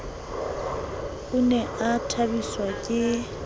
o ne a thabiswa ke